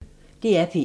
DR P1